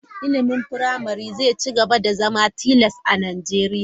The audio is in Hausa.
Ilimin firamare zai ci gaba da zama tilas a Najeriya.